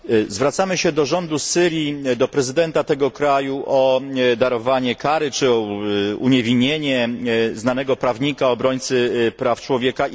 Zwracamy się do rządu Syrii, do prezydenta tego kraju o darowanie kary i uniewinnienie znanego prawnika, obrońcy praw człowieka.